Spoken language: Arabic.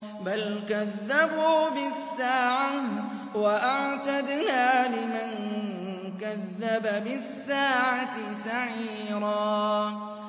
بَلْ كَذَّبُوا بِالسَّاعَةِ ۖ وَأَعْتَدْنَا لِمَن كَذَّبَ بِالسَّاعَةِ سَعِيرًا